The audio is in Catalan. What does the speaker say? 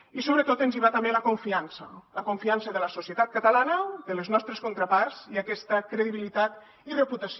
i sobretot ens hi va també la confiança la confiança de la societat catalana de les nostres contraparts i aquesta credibilitat i reputació